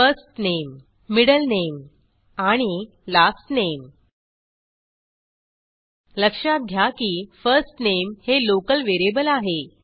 first name middle name आणि last name लक्षात घ्या की first name हे लोकल व्हेरिएबल आहे